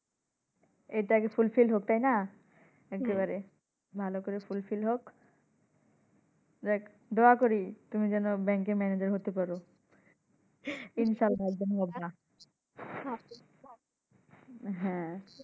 এটা আগে Fullfil হোক তাইনা? এক্কেবারে ভালো করে Fullfil দোয়া করি তুমি যেন ব্যংকের ম্যানাজার হতে পারো। ইনশাল্লাহ হবা হ্যাঁ।